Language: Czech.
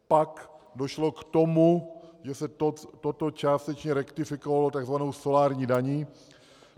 Pak došlo k tomu, že se toto částečně rektifikovalo tzv. solární daní.